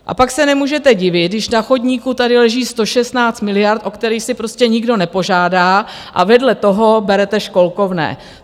A pak se nemůžete divit, když na chodníku tady leží 116 miliard, o které si prostě nikdo nepožádá a vedle toho berete školkovné.